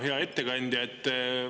Hea ettekandja!